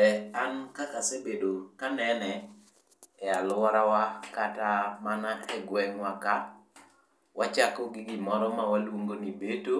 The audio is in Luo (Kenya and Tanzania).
ee an kaka asebedo ka anene e alurowa kata mana e gweng'wa ka wachako gi gimoro miluongo ni beto